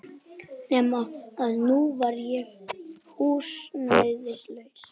Nema að nú var ég húsnæðislaus.